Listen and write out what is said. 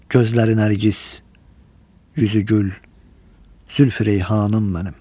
Gözləri nərgiz, üzü gül, Zülfü reyhanım mənim.